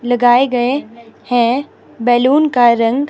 लगाए गए हैं बलून का रंग--